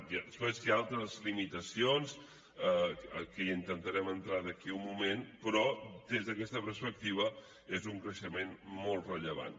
després hi ha altres limitacions que hi intentarem entrar d’aquí a un moment però des d’aquesta perspectiva és un creixement molt rellevant